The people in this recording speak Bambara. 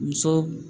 Muso